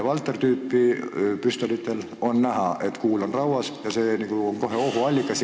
Walther-tüüpi püstolitel on näha, et kuul on rauas, ja see on nagu ohuallikas.